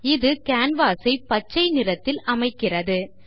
இது canvas ஐ பச்சை நிறத்தில் அமைக்கிறது